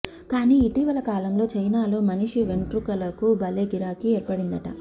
కానీ ఇటీవల కాలంలో చైనాలో మనిషి వెంట్రుకలకు భలే గిరాకీ ఏర్పడిందట